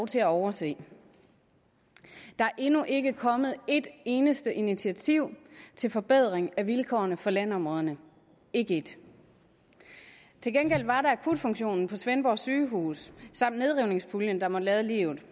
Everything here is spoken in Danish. til at overse der er endnu ikke kommet et eneste initiativ til forbedring af vilkårene for landområderne ikke ét til gengæld var der akutfunktionen på svendborg sygehus samt nedrivningspuljen der måtte lade livet